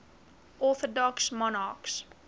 orthodox monarchs